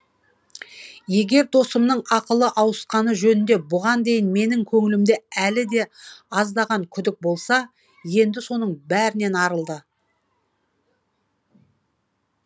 егер досымның ақылы ауысқаны жөнінде бұған дейін менің көңілімде әлі де аздаған күдік болса енді соның бәрінен арылды